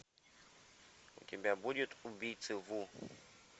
у тебя будет убийцы ву